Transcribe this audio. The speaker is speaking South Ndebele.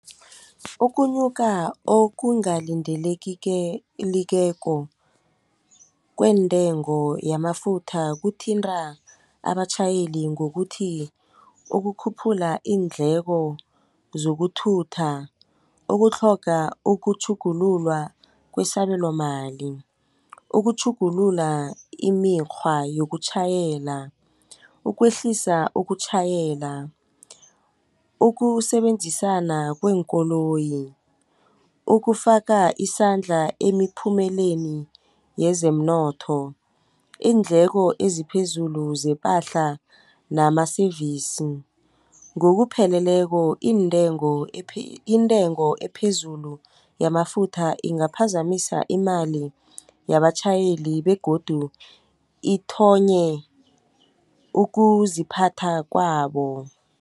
Ukunyuka kwentengo yamafutha kuthinta abatjhayeli ngokuthi ukukhuphula iindleko zokuthutha, ukutlhoga ukutjhugululwa kwesabelomali, ukutjhugulula imikghwa yokutjhayela, ukwehlisa ukutjhayela, ukusebenzisana kweenkoloyi, ukufaka isandla emiphumeleni yezemnotho, iindleko eziphezulu zepahla nama-service. Ngokupheleleko iintengo intengo ephezulu yamafutha ingaphazamisa imali yabatjhayeli begodu ukuziphatha kwabo.